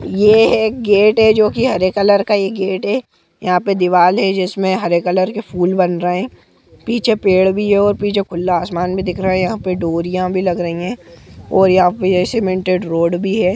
ये एक गेट है जो की हरे कलर का ये गेट है यहाँ पे दीवाल भी है जिसमें हरे कलर के फूल बन रहे है पीछे पेड़ भी है और पीछे खुला आसमान भी दिख रहा है यहाँ पर डोरिया भी लग रही है और यहाँ पे सीमेंटेड रोड भी है।